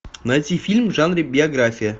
найти фильм в жанре биография